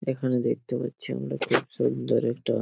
এখানে দেখতে পাচ্ছি আমরা খুব সুন্দর একটা --